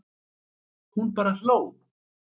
Hún bara hló.